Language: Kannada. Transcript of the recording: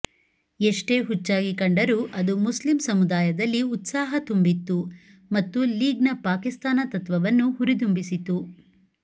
ಎಷ್ಟೇ ಹುಚ್ಚಾಗಿ ಕಂಡರೂ ಅದು ಮುಸ್ಲಿಂ ಸಮುದಾಯದಲ್ಲಿ ಉತ್ಸಾಹ ತುಂಬಿತ್ತು ಮತ್ತು ಲೀಗ್ನ ಪಾಕಿಸ್ತಾನ ತತ್ವವನ್ನು ಹುರಿದುಂಬಿಸಿತು